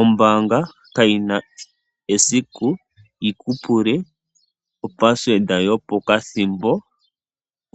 Ombaanga kayina esiku yiku pule opasiweda yo pokathimbo